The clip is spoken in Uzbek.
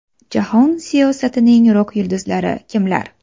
Jahon siyosatining rok-yulduzlari kimlar?